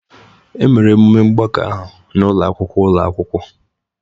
Emere emume mgbakọ ahụ n'ụlọ akwụkwọ ụlọ akwụkwọ